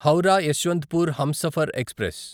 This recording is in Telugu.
హౌరా యశ్వంత్పూర్ హంసఫర్ ఎక్స్ప్రెస్